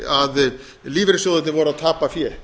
að lífeyrissjóðirnir voru að tapa fé